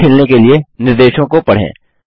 खेल खेलने के लिए निर्देशों को पढ़ें